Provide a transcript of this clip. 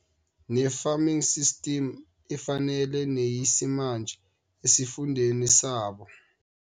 Ne-farming systems efanele neyesimanje esifundeni sabo.